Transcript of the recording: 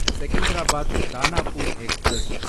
Secunderabad Danapur express